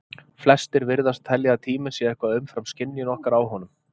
flestir virðast telja að tíminn sé eitthvað umfram skynjun okkar á honum